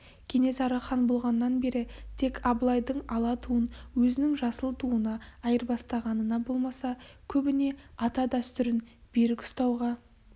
кенесары хан болғаннан бері тек абылайдың ала туын өзінің жасыл туына айырбастағаны болмаса көбіне ата дәстүрін берік ұстауға